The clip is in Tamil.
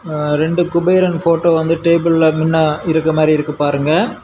அ ரெண்டு குபேரன் போட்டோ வந்து டேபிள்ள முன்ன இருக்க மாதிரி இருக்கு பாருங்க.